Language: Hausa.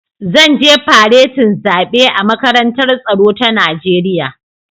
Zan je faretin zaɓe a Makarantar Tsaro ta Najeriya